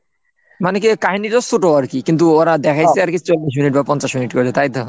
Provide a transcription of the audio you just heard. মানে কি কাহিনীটা ছোট আর কি কিন্তু ওরা দেখাইছে আর কি চোখ বা পঞ্চাশ minute করে তাই তো?